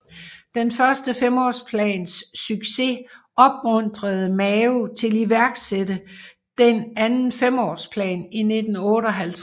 Den første femårsplans succes opmuntrede Mao til iværksætte den anden femårsplan i 1958